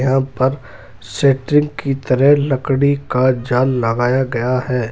यहाँ पर सेट्रिंग की तरह लकड़ी का जाल लगाया गया है।